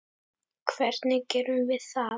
Hvernig gerum við það?